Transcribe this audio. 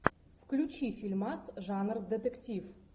включи фильмас жанр детектив